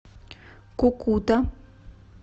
кукута